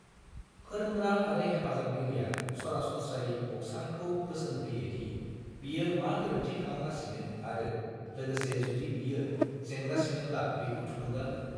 फोरोंग्रा आरो हेफाजाबगिरिया सरासनस्रायै बक्सारखौ बोसोन होयो दि बियो मा गोरोन्थि खालामगासिनो आरो लोगोसे जुदि बियो जेनगासिनोब्ला बिखौ थुलुंगा हो।